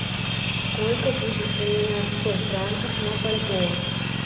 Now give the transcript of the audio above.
сколько будет поменять сто франков на бальбоа